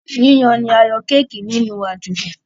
Yíyan ní a yan Kéèkì nínú Àdìrò.